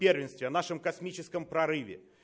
первенстве в нашем космическом прорыве